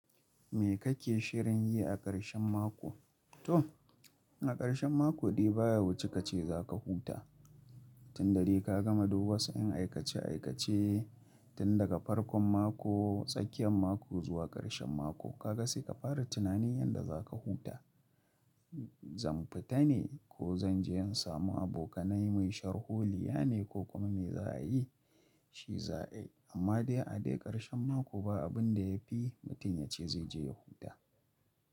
Me kake shirin yi a ƙarshen mako? To a ƙarshen mako dai ba ya wuce kace zaka huta. Tun dare ka gama duk wasu yan aikace aikace tun daga farkon mako, tsakiyan mako zuwa ƙarshen mako. Kaga sai ka fara tunani yanda zaka huta. Zan fita ne ko zan je in samu abokanai, mu yi sharhuliya ne ko kuma me za a yi, shi za a yi. Amma dai a dai ƙarshen mako ba abin da ya fi mutum yace zai je ya huta.